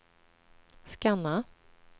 scanna